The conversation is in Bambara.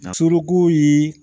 Na soloko ye